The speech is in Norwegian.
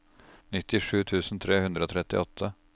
nittisju tusen tre hundre og trettiåtte